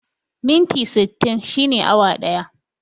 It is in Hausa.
Minti sittin shine awa ɗaya